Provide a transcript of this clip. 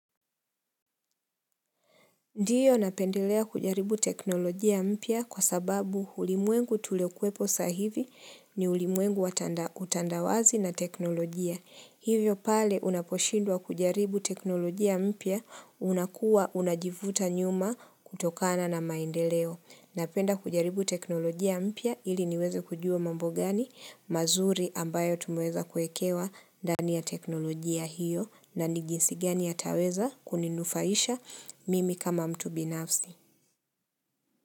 Ndiyo napendelea kujaribu teknolojia mpya kwa sababu ulimwengu tuliokwepo sahivi ni ulimwengu watanda utandawazi na teknolojia. Hivyo pale unaposhindwa kujaribu teknolojia mpya unakuwa unajivuta nyuma kutokana na maendeleo. Napenda kujaribu teknolojia mpya ili niweze kujua mambo gani mazuri ambayo tumeweza kuekewa ndani ya teknolojia hiyo na ni jinsi gani yataweza kuninufaisha mimi kama mtu binafsi.